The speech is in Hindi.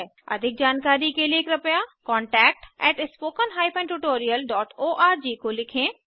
अधिक जानकारी के लिए कृपया contactspoken tutorialorg को लिखें